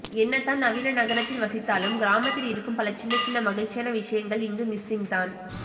என்ன தான் நவீன நகரத்தில் வசித்தாலும் கிராமத்தில் இருக்கும் பல சின்ன சின்ன மகிழ்ச்சியான விஷயங்கள் இங்கு மிஸ்ஸிங் தான்